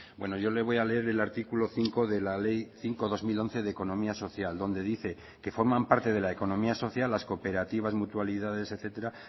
bueno yo le voy a leer el artículo cinco de la ley cinco barra dos mil once de economía social donde dice que forman parte de la economía social las cooperativas mutualidades etcétera